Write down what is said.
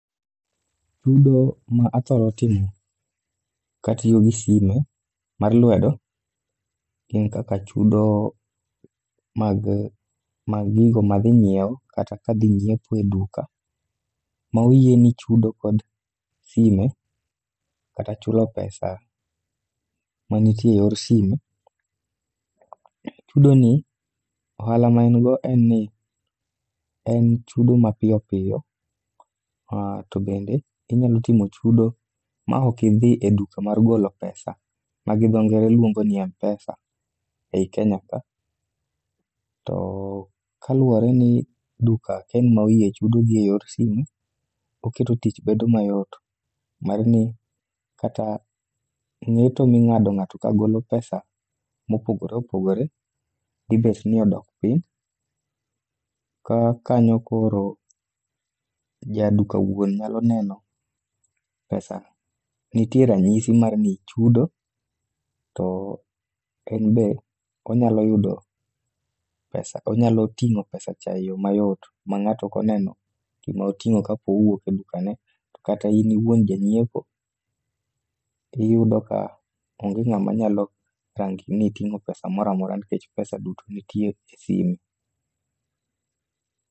Chudo ma athoro timo katiyo gi simu mar lwedo gin kaka chudo mag gigo madhi nyiewo kata kadhi nyiepo e duka ma oyieni chudo kod simu kata chulo pesa manitie e yor simu. Chudo ni, ohala ma en go en ni ,en chudo mapiyo piyo, to bende inyalo timo chudo ma ok idhi e duka mar golo pesa ma gi dho ngere luongo ni M-PESA ei Kenya ka. To kaluwore ni duka ka en ma oyie chudo gi e yor simu ,oketo tich bedo mayot mar ni kata ng'eto ming'ado ng'ato kagolo pesa mopogore opogore, dhi bet ni odok piny, ka kanyo koro jaduka wuon nyalo neno pesa. Nitie ranyisi mar ni ichudo, to en be ,onyalo ting'o pesacha e yo mayot ma ng'ato ok oneno gima oting'o kapo owuok e duka ne. To kata in iwuon janyiiepo, iyudo ka onge ng'ama nyalo rangi niting'o pesa mora mora nikech pesa duto nitie e simu.